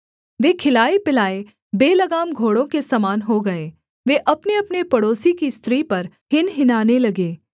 वे खिलाएपिलाए बेलगाम घोड़ों के समान हो गए वे अपनेअपने पड़ोसी की स्त्री पर हिनहिनाने लगे